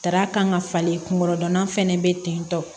Dara kan ŋa falen kunkolodonna fɛnɛ be tentɔ